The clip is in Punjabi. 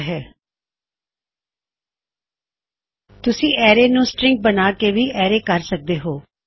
ਇਸਨੂੰ ਐੱਕੋ ਕਰਨ ਲਈ ਤੁਸੀਂ ਅਰੈ ਨੂੰ ਆਪਣੇ ਸਟਰਿੰਗ ਵਿੱਚ ਇੱਕਠਾ ਕਰ ਸਕਦੇ ਹੋਂ